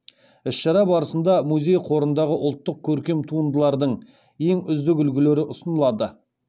іс шара барысында музей қорындағы ұлттық көркем туындылардың ең үздік үлгілері ұсынылады